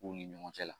U ni ɲɔgɔn cɛ la